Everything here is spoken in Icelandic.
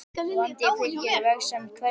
Vandi fylgir vegsemd hverri.